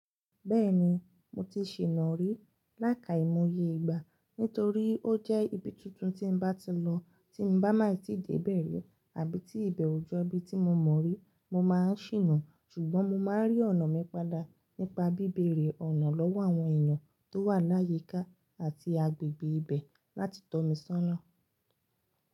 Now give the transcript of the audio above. Bẹ́ẹ̀ni, mo ti sìna rí láika ìmòye ìgbà nítorí ó jẹ́ ibi tuntun tí bá ti lọ tí bá máa tí ì dé bẹ̀ ri àbí tí ibẹ̀ ò jọ ibi tí mo mọ̀ rí, mo máa ń sìna ṣùgbọ́n mo máa ń rí ọ̀nà mi padà nípa bíbèrè ọ̀nà lọ́wọ́ àwọn èèyàn tó wà láyíká àti agbègbè ibẹ̀ láti tọ́ mi sọ́nà.